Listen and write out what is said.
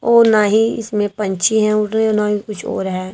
ओ नाहीं इसमें पंछी हैं उड़ रहे और ना ही कुछ और है।